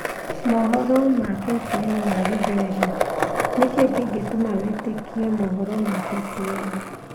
KTN News Swahili: Niki kingituma witikie KTN News